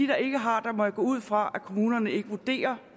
der ikke har må jeg gå ud fra at kommunerne ikke vurderer